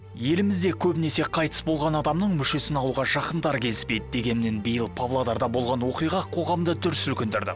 елімізде көбінесе қайтыс болған адамның мүшесін алуға жақындары келіспейді дегеннен биыл павлодарда болған оқиға қоғамды дүр сілкіндірді